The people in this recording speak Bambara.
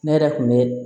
Ne yɛrɛ kun bɛ